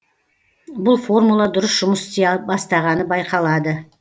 бұл формула дұрыс жұмыс істей бастағаны байқалады